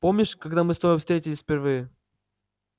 помнишь когда мы с тобой встретились впервые